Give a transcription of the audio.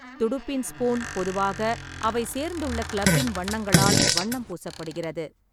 துடுப்பின் ஸ்பூன் பொதுவாக அவை சேர்ந்துள்ள கிளப்பின் வண்ணங்களால் வண்ணம் பூசப்படுகிறது.